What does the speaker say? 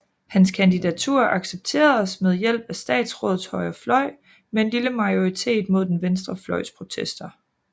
Hans kandidatur accepteredes med hjælp af statsrådets højre fløj med en lille majoritet mod den venstre fløjs protester